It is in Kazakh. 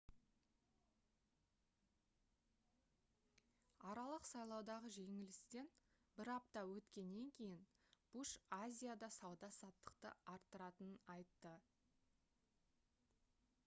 аралық сайлаудағы жеңілістен бір апта өткеннен кейін буш азияда сауда-саттықты арттыратынын айтты